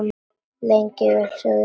Lengi vel sögðu þau ekkert.